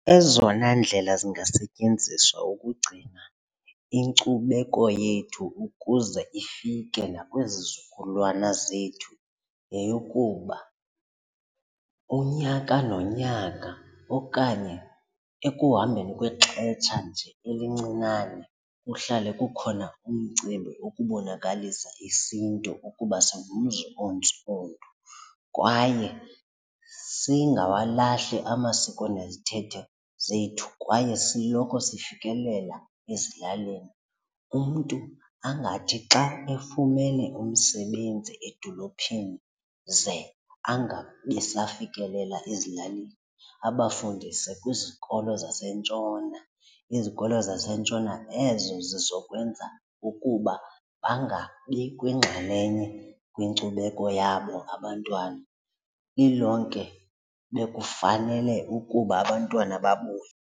Ezona ndlela zingasetyenziswa ukugcina inkcubeko yethu ukuze ifike nakwizizukulwana zethu yeyokuba kuba unyaka nonyaka okanye ekuhambeni kwexetsha nje elincinane, kuhlale kukhona umcimbi ukubonakalisa isiNtu ukuba singumzi ontsundu, kwaye singawalahli amasiko nezithethe zethu kwaye siloko sifikelela ezilalini. Umntu angathi xa efumene umsebenzi edolophini ze angabi safikelela ezilalini, abafundise kwizikolo zasentshona, izikolo zasentshona ezo zizokwenza ukuba bangabi kwingxalenye kwinkcubeko yabo abantwana. Lilonke bekufanele ukuba abantwana babuye.